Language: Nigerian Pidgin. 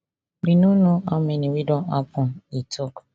we no know how many wey don happun e tok